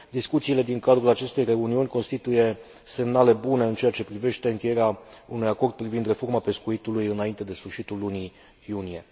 Discuțiile din cadrul acestei reuniuni constituie semnale bune în ceea ce privește încheierea unui acord privind reforma pescuitului înainte de sfârșitul lunii iunie.